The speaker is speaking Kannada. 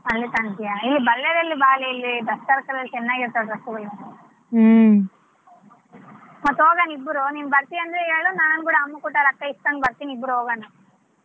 ಇಲ್ಲಿ Ballary ಯಲ್ಲಿ ಇಲ್ಲಿ ಚೆನ್ನಾಗಿರ್ತಾವೆ dress ಗಳು ಮತ್ತ ಹೋಗನಾ ಇಬ್ರು ನೀನ್ ಬರ್ತೀಯಾ ಅಂದ್ರೆ ಹೇಳು ನಾನ್ ಕೂಡಾ ಅಮ್ಮ ಕೊಟ್ ರೊಕ್ಕ ಇಸ್ಕೊಂಡ ಬರ್ತೀನಿ ಇಬ್ರೂ ಹೋಗಣ.